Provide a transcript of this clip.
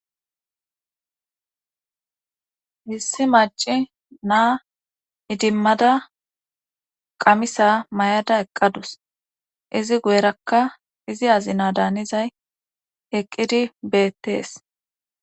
issi maca naa idimmada qamisa may7ada eqqadus izi guyerakka izi azina daanizay eqqidi beettees